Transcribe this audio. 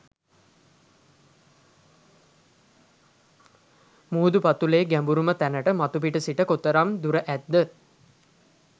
මුහුද පතුලේ ගැඹුරුම තැනට මතුපිට සිට කොතරම් දුර ඇද්ද?